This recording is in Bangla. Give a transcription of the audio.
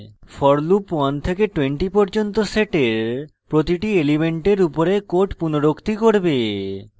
for loop 1 থেকে 20 পর্যন্ত set প্রতিটি element উপরে code পুনরুক্তি করবে